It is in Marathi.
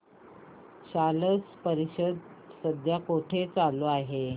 स्लश परिषद सध्या कुठे चालू आहे